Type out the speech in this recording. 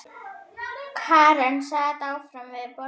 Karen sat áfram við borðið.